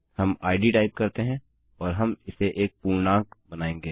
हम id type करते हैं और हम इसे एक पूर्णांक बनायेंगे